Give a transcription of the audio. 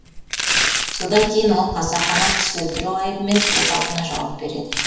содан кейін ол қасақана кісі өлтіру айыбымен сот алдында жауап береді